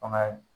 Fanga ye